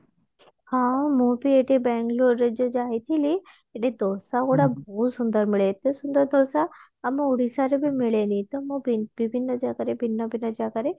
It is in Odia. ହଁ ମୁଁ ବି ଏବେ ବାଙ୍ଗେଲୋର ଏବେ ଯୋଉ ଯାଇଥିଲି ସେଠି ଦୋସା ଗୁଡା ବହୁତ ସୁନ୍ଦର ମିଳେ ଏତେ ସୁନ୍ଦର ଦୋସା ଆମ ଓଡିଶା ରେ ବି ମିଳେନି ତ ମୁଁ ବି ବିଭିନ୍ନ ଜାଗାରେ ଭିନ୍ନ ଭିନ୍ନ ଜାଗାରେ